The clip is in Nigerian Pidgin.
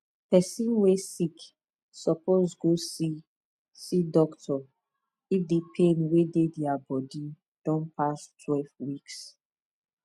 person wey sick suppose go see see doctor if the pain wey dey dia body don pass twelve weeks